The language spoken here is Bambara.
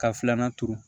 Ka filanan turu